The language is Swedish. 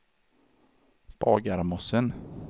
Bagarmossen